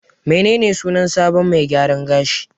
Menene sunan sabon mai gyaran gashin?